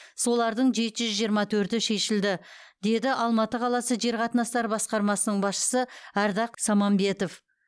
солардың жеті жүз жиырма төрті шешілді деді алматы қаласы жер қатынастары басқармасының басшысы ардақ самамбетов